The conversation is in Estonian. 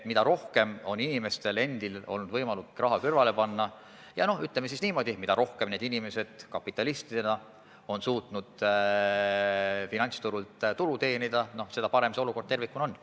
Mida rohkem on inimestel olnud võimalik raha kõrvale panna, mida rohkem, ütleme siis niimoodi, inimesed kapitalistidena on suutnud finantsturul tulu teenida, seda parem olukord tervikuna on.